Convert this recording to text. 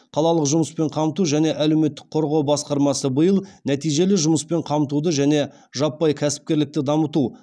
қалалық жұмыспен қамту және әлеуметтік қорғау басқармасы биыл нәтижелі жұмыспен қамтуды және жаппай кәсіпкерлікті дамыту